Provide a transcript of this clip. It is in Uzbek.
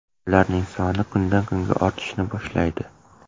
Ularning soni kundan kunga ortishni boshlaydi.